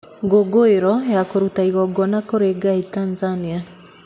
Ngũngũĩro ya kũruta igongona kũrĩ ngai Tanzanĩa.